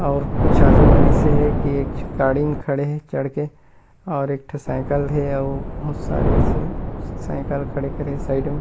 और कुछ आदि मन अइसे हे की एक झु गाड़ी म खड़े हे चढ़ के और एक ठो साइकिल हे अउ बहुत सारे ऐसे साइकिल खड़े खड़े हे साइड में --